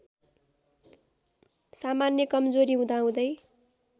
सामान्य कमजोरी हुँदाहुँदै